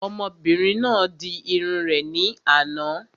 Ọmọbìnrin náà di irun rẹ̀ ní àná